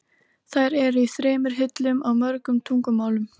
Þær eru í þremur hillum, á mörgum tungumálum.